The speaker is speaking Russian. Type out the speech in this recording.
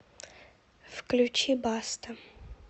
включи баста